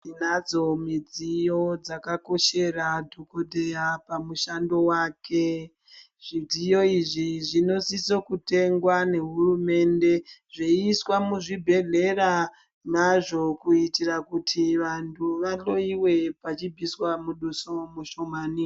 Tinadzo midziyo dzakakoshera dhokoteya pamushando wake. Zvidziyo izvi zvinosiso kutengwa nehurumende, zveiiswa muzvibhedhlera mazvo kuitira kuti vantu vahloyiwe pachibviswa muduso mushomane.